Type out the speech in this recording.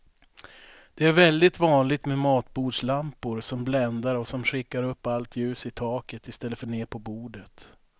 Det är väldigt vanligt med matbordslampor som bländar och som skickar upp allt ljus i taket i stället för ner på bordet.